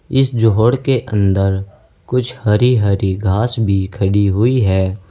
इस जोहड़ के अंदर कुछ हरी हरी घास भी खड़ी हुई है।